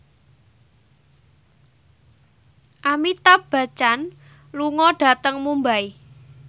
Amitabh Bachchan lunga dhateng Mumbai